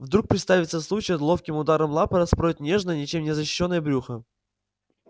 вдруг представится случай ловким ударом лапы распороть нежное ничем не защищённое брюхо